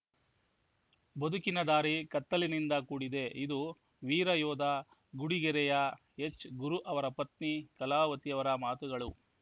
ಬದುಕಿನ ದಾರಿ ಕತ್ತಲಿನಿಂದ ಕೂಡಿದೆ ಇದು ವೀರಯೋಧ ಗುಡಿಗೆರೆಯ ಎಚ್‌ಗುರು ಅವರ ಪತ್ನಿ ಕಲಾವತಿಯವರ ಮಾತುಗಳು